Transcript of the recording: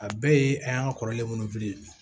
A bɛɛ ye an y'an ka kɔrɔlen minnu bili